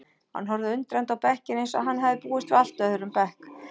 Hann horfði undrandi á bekkinn eins og hann hefði búist við allt öðrum bekk.